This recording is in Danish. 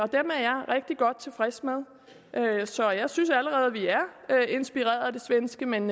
rigtig godt tilfreds med så jeg synes allerede at vi er inspireret af det svenske men